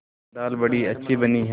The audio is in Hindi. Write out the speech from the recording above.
दाल बड़ी अच्छी बनी है